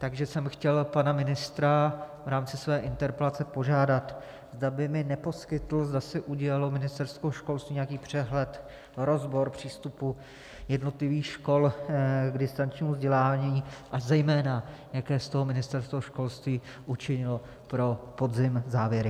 Takže jsem chtěl pana ministra v rámci své interpelace požádat, zda by mi neposkytl, zda si udělalo Ministerstvo školství nějaký přehled, rozbor přístupu jednotlivých škol k distančnímu vzdělávání, a zejména, jaké z toho Ministerstvo školství učinilo pro podzim závěry.